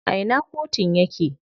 A ina kotun yake?